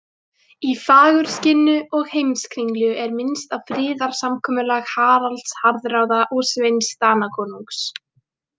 Í Fagurskinnu og Heimskringlu er minnst á friðarsamkomulag Haralds harðráða og Sveins Danakonungs.